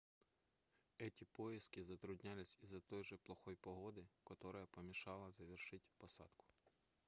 эти поиски затруднялись из-за той же плохой погоды которая помешала завершить посадку